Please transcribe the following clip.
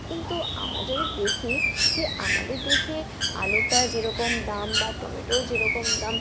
কিন্তু আমরা যদি দেখি যে আমাদের দেশে আলুটা যেরকম দাম বা টমেটোও যেরকম দাম